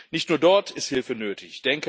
Nicht nur dort ist Hilfe nötig.